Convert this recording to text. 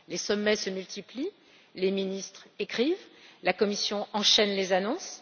Les sommets se multiplient, les ministres écrivent, la Commission enchaîne les annonces.